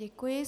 Děkuji.